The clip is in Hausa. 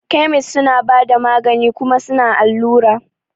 Kemis suna bada magani kuma suna allura.